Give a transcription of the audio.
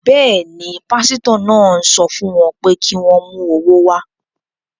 Bẹ́ẹ̀ ni, pásítọ̀ náà ń sọ fún wọn pé kí wọ́n mú owó wá.